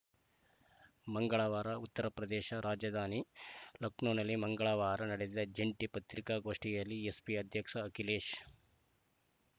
ಮಂಗಳವಾರ ಉತ್ತರ ಪ್ರದೇಶ ರಾಜಧಾನಿ ಲಖನೌನಲ್ಲಿ ಮಂಗಳವಾರ ನಡೆದ ಜಂಟಿ ಪತ್ರಿಕಾಗೋಷ್ಠಿಯಲ್ಲಿ ಎಸ್‌ಪಿ ಅಧ್ಯಕ್ಷ ಅಖಿಲೇಶ್‌